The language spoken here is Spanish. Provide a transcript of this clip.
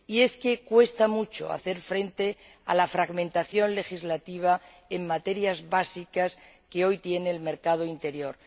Y es que cuesta mucho hacer frente a la fragmentación legislativa en materias básicas que hoy tiene el mercado interior.